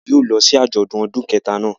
A yóò lọ si ajọdun ọdun kẹta náa